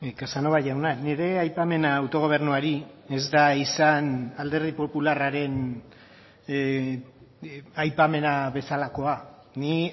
casanova jauna nire aipamena autogobernuari ez da izan alderdi popularraren aipamena bezalakoa ni